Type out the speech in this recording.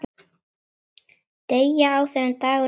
Deyja, áður en dagur rynni.